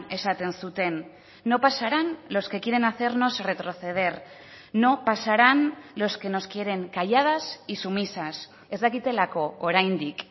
esaten zuten no pasarán los que quieren hacernos retroceder no pasarán los que nos quieren calladas y sumisas ez dakitelako oraindik